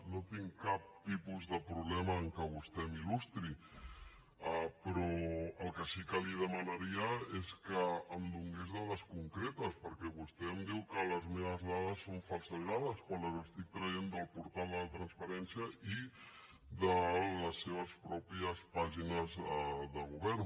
no tinc cap tipus de problema que vostè m’il·lustri però el que sí que li demanaria és que em donés dades concretes perquè vostè em diu que les meves dades són falsejades quan les estic traient del portal de la transparència i de les seves pròpies pàgines de govern